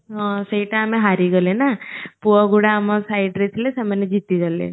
ହଁ ସେଇଟା ଆମେ ହାରିଗଲେ ନା ପୁଅ ଗୁଡା ଆମ side ରେ ଥିଲେ ସେମାନେ ଜିତି ଗଲେ